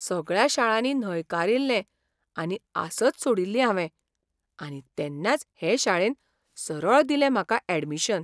सगळ्या शाळांनी न्हयकारिल्लें आनी आसच सोडिल्ली हावें, आनी तेन्नाच हे शाळेन सरळ दिलें म्हाका यॅडमिशन.